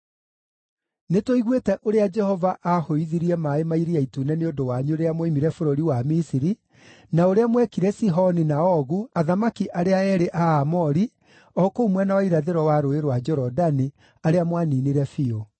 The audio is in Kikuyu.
Nĩtũiguĩte ũrĩa Jehova aahũithirie maaĩ ma Iria Itune nĩ ũndũ wanyu rĩrĩa mwoimire bũrũri wa Misiri, na ũrĩa mwekire Sihoni na Ogu, athamaki arĩa eerĩ a Aamori o kũu mwena wa irathĩro wa Rũũĩ rwa Jorodani, arĩa mwaninire biũ.